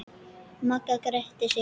Magga gretti sig.